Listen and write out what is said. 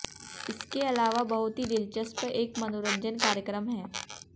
इसके अलावा बहुत ही दिलचस्प एक मनोरंजन कार्यक्रम है